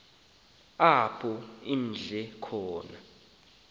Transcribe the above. apho imdle khona